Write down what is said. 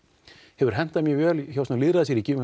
hefur hentað mjög vel í lýðræðisríkjum